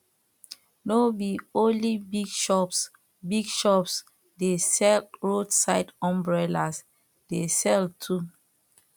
no be only big shops big shops de sell road side umbrellas de sell too